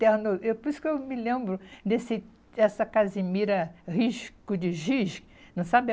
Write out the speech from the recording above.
Terno eu, por isso que eu me lembro desse essa Casimira rico de giz, não sabe?